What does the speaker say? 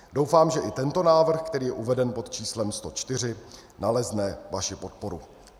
Doufám, že i tento návrh, který je uveden pod číslem 104, nalezne vaši podporu.